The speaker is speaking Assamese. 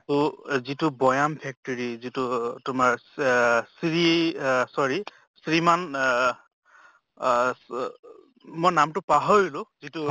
তʼ যিটো বৈয়াম factory যিটো অহ তোমাৰ এহ চিৰি অহ sorry শ্ৰীমান অহ অহ চ মই নাম্তো পাহৰিলো যিটো